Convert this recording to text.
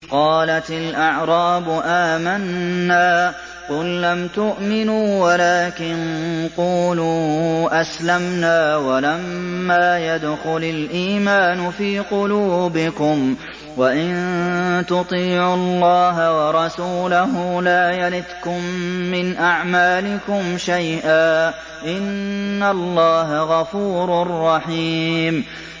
۞ قَالَتِ الْأَعْرَابُ آمَنَّا ۖ قُل لَّمْ تُؤْمِنُوا وَلَٰكِن قُولُوا أَسْلَمْنَا وَلَمَّا يَدْخُلِ الْإِيمَانُ فِي قُلُوبِكُمْ ۖ وَإِن تُطِيعُوا اللَّهَ وَرَسُولَهُ لَا يَلِتْكُم مِّنْ أَعْمَالِكُمْ شَيْئًا ۚ إِنَّ اللَّهَ غَفُورٌ رَّحِيمٌ